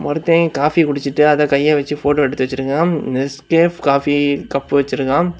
ஒருத்த காஃபி குடிச்சிட்டு அத கைய வச்சு போட்டோ எடுத்து வச்சிருக்கா நெஸ்கேப் காஃபி கப் வச்சிருக்கா.